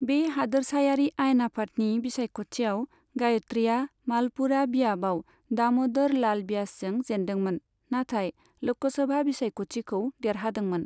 बे हादोरसायारि आयेन आफादनि बिसायख'थियाव गायत्रीया मालपुरा बियाबाव दाम'दर लाल ब्यासजों जेन्दोंमोन, नाथाय ल'कसभा बिसायख'थिखौ देरहादोंमोन।